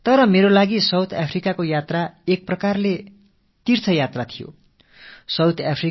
ஆனால் என்னைப் பொறுத்தமட்டில் தென்னாப்பிரிக்கப் பயணம் என்பது ஒரு வகையில் ஒரு தலயாத்திரைக்கு ஒப்பானது